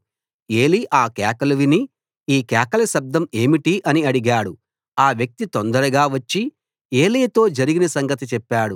ఏలీ ఆ కేకలు విని ఈ కేకల శబ్దం ఏమిటి అని అడిగాడు ఆ వ్యక్తి తొందరగా వచ్చి ఏలీతో జరిగిన సంగతి చెప్పాడు